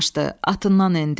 Atından endi.